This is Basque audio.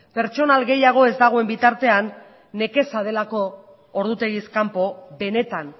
pertsonal gehiago ez dagoen bitartean nekeza delako ordutegiz kanpo benetan